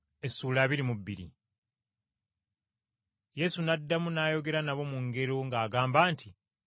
Yesu n’addamu n’ayogera nabo mu ngero ng’agamba nti,